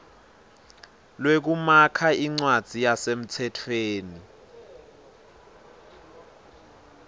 lwekumakha incwadzi yasemtsetfweni